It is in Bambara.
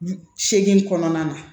Segin kɔnɔna na